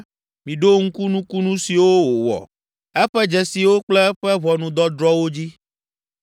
Miɖo ŋku nukunu siwo wòwɔ, eƒe dzesiwo kple eƒe ʋɔnudɔdrɔ̃wo dzi.